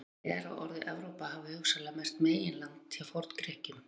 Talið er að orðið Evrópa hafi hugsanlega merkt meginland hjá Forn-Grikkjum.